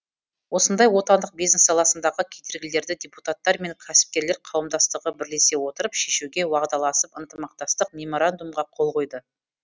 осындай отандық бизнес саласындағы кедергілерді депутаттар мен кәсіпкерлер қауымдастығы бірлесе отырып шешуге уағдаласып ынтымақтастық меморандумына қол қойды